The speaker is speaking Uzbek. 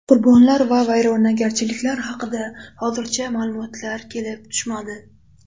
Qurbonlar va vayronagarchiliklar haqida hozircha ma’lumotlar kelib tushmadi.